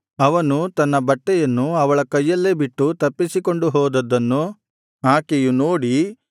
ಅವನು ತನ್ನ ಬಟ್ಟೆಯನ್ನು ಅವಳ ಕೈಯಲ್ಲಿ ಬಿಟ್ಟು ತಪ್ಪಿಸಿಕೊಂಡು ಹೋದದ್ದನ್ನು ಆಕೆಯು ನೋಡಿ